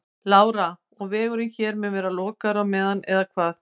Lára: Og vegurinn hér mun vera lokaður á meðan eða hvað?